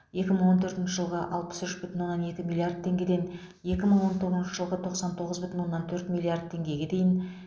екі мың он төртінші жылғы алпыс үш бүтін оннан екі миллиард теңгеден екі мың он тоғызыншы жылғы тоқсан тоғыз бүтін оннан төрт миллард теңгеге дейін